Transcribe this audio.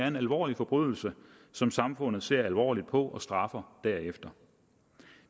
en alvorlig forbrydelse som samfundet ser alvorligt på og straffer derefter